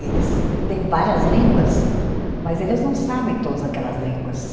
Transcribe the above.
Eles têm várias línguas, mas eles não sabem todas aquelas línguas.